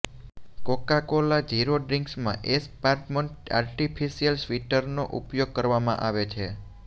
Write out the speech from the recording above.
Coca Cola zero ડ્રિન્કમાં aspartame artificial સ્વીટનરનો ઉપયોગ કરવામાં આવે છે